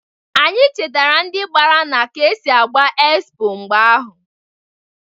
Anyi chetara ndị gbara na ka esi agba ekspo mgbe ahụ.